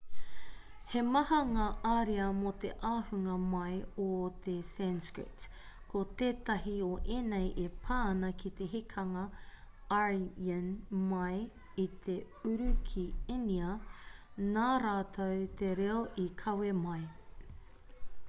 he maha ngā ariā mō te ahunga mai o te sanskrit ko tētahi o ēnei e pā ana ki te hekenga aryan mai i te uru ki īnia nā rātou te reo i kawe mai